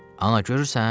Ana, görürsən?